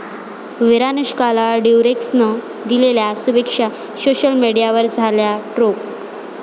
विरानुष्काला 'ड्युरेक्स'नं दिलेल्या शुभेच्छा सोशल मीडियावर झाल्या ट्रोल